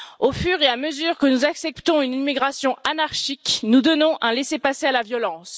Au fur et à mesure que nous acceptons une immigration anarchique, nous donnons un laissez passer pour la violence.